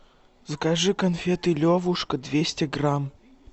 закажи конфеты левушка двести грамм